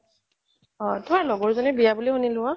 তুমাৰ লগৰ জনিৰ বিয়া বুলি সুনিলো ও